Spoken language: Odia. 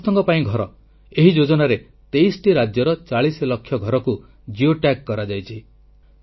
ସମସ୍ତଙ୍କ ପାଇଁ ଘର ଏହି ଯୋଜନାରେ 23ଟି ରାଜ୍ୟର 40 ଲକ୍ଷ ଘରକୁ ଜିଓ ଟ୍ୟାଗ୍ କରାଯାଇଛି